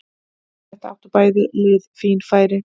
Eftir þetta áttu bæði lið fín færi.